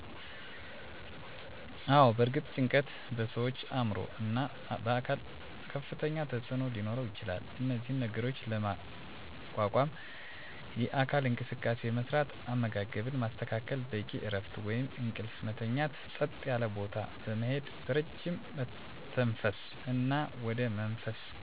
አወ በእርግጥ ጭንቀት በሠዋች አዕምሮ እና አካል ከፍተኛ ተፅዕኖ ሊኖረው ይችላል እነዚህን ነገሮች ለመቋቋም የአካል እንቅስቃሴ መስራት፣ አመጋገብን ማስተካከል፣ በቂ እረፍት ወይም እንቅልፍ መተኛት፣ ፀጥ ያለ ቦታ በመሄድ በረጅም መተንፈስ እና ወደ መንፈሳዊ ቦታ መሄድ አማራጭ መንገድ ይሆናሉ።